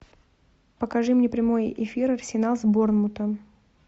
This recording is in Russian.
покажи мне прямой эфир арсенал с борнмутом